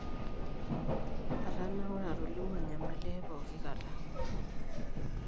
'Atanaure atolimu enyamali ai poki kata.